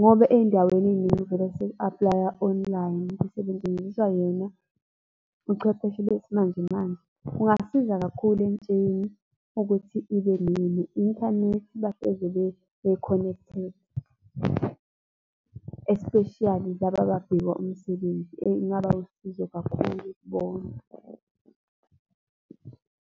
ngoba ey'ndaweni ey'ningi vele seku apply-wa online, kusebenziswa bona ubuchwepheshe besimanje manje. Kungasiza kakhulu entsheni ukuthi ibe ne-inthanethi bahlezi be-connected, especially laba ababheka umsebenzi ingaba usizo kakhulu kubona.